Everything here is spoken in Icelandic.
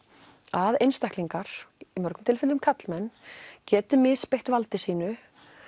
að einstaklingar í mörgum tilfellum karlmenn geti misbeitt valdi sínu